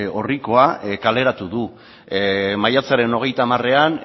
orrikoa kaleratu du maiatzaren hogeita hamaran